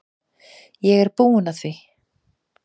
Ég er búinn að því.